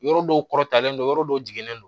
Yɔrɔ dɔw kɔrɔtalen don yɔrɔ dɔw jiginnen don